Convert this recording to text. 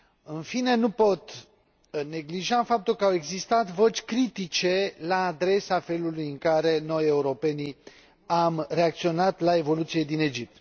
În fine, nu pot neglija faptul că au existat voci critice la adresa felului în care noi, europenii, am reacționat la evoluțiile din Egipt.